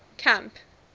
camp